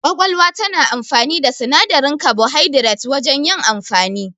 Ƙwaƙwalwa tana amfani da sinadarin kabuhaidirat wajan yin amfani